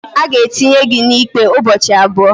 a ga-etinye gị na ikpe ụbọchị abụọ